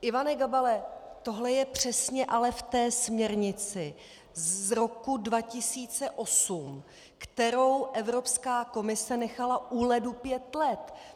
Ivane Gabale, tohle je přesně ale ve směrnici z roku 2008, kterou Evropská komise nechala u ledu pět let.